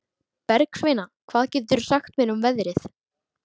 Bergsveina, hvað geturðu sagt mér um veðrið?